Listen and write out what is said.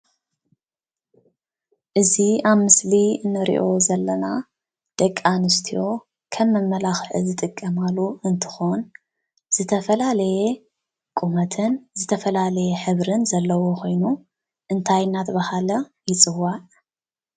እዚ አብ ምስሊ እንሪኦ ዘለና ደቂ አንስትዮ ከም መማላኽዒ ዝጥቀማሉ እንትኾን ዝተፈላለየ ቁመትን ዝተፈላለየ ሕብርን ዘለዎ ኾይኑ እንታይ እናተባሃለ ይፅዋዕ?